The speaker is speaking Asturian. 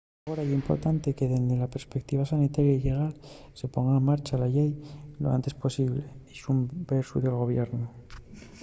agora ye importante que dende la perspeutiva sanitaria y llegal se ponga en marcha la llei lo enantes posible” dixo un voceru del gobiernu